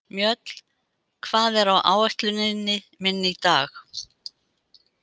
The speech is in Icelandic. Mjöll, hvað er á áætluninni minni í dag?